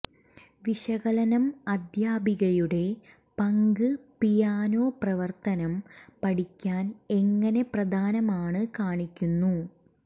വിശകലനം അധ്യാപികയുടെ പങ്ക് പിയാനോ പ്രവർത്തനം പഠിക്കാൻ എങ്ങനെ പ്രധാനമാണ് കാണിക്കുന്നു